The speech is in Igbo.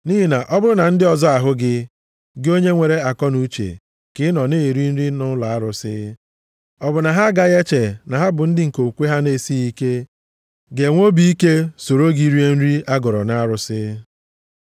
Nʼihi na ọ bụrụ na ndị ọzọ ahụ gị, gị onye nwere akọnuche, ka ị nọ, na-eri nri nʼụlọ arụsị, ọ bụ na ha agaghị eche na ha bụ ndị okwukwe ha na-esighị ike, ga-enwe obi ike soro gị rie nri a gọrọ arụsị?